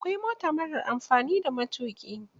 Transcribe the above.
Akwai mota marar amfani da matuƙi.